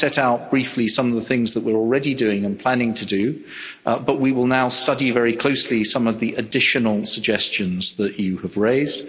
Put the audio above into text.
I set out briefly some of the things that we are already doing and planning to do, but we will now study very closely some of the additional suggestions that you have raised.